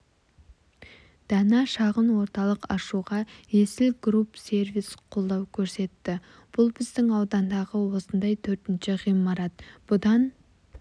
дана шағын орталығын ашуға есіл групп сервис қолдау көрсетті бұл біздің аудандағы осындай төртінші ғимарат бұдан